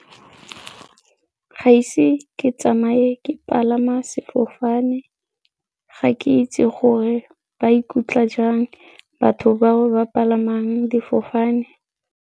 Ga ise ke tsamaye ke palama sefofane, ga ke itse gore ba ikutlwa jang batho bao ba palamang difofane.